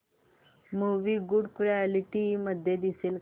movie good quality मध्ये दिसेल का